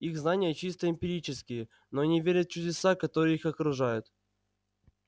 их знания чисто эмпирические но они верят в чудеса которые их окружают